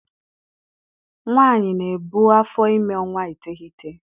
Nwaanyị na-ebu afọ ime ọnwa iteghete.